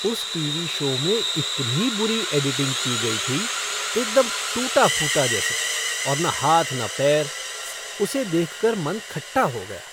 उस TV show में इतनी बुरी एडिटिंग की गई थी, एकदम टूटा फूटा जैसे और न हाथ न पैर। उसे देख कर मन खट्टा हो गया।